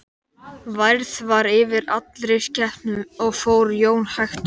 Værð var yfir allri skepnu og fór Jón hægt um.